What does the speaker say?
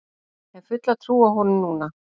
Hef fulla trú á honum núna.